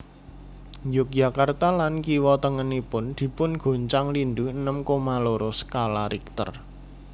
Yogyakarta lan kiwo tengenipun dipungoncang lindhu enem koma loro sekala richter